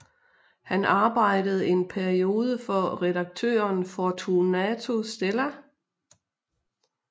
Han arbejdede en periode for redaktøren Fortunato Stella